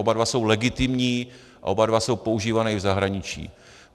Oba dva jsou legitimní a oba dva jsou používané i v zahraničí.